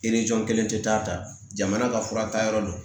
kelen tɛ taa ka taa jamana ka fura ta yɔrɔ dɔn